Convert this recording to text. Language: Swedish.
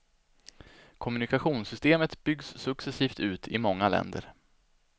Kommunikationssystemet byggs successivt ut i många länder.